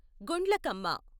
Gundlakamma